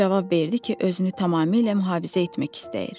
O cavab verdi ki, özünü tamamilə mühafizə etmək istəyir.